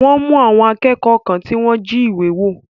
Wọ́n mú àwọn akékọ̀ọ́ kan tí wọ́n jí ìwé wò.